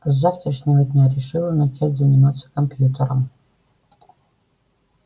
а с завтрашнего дня решила начать заниматься компьютером